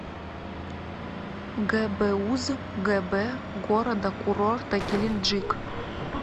гбуз гб города курорта геленджик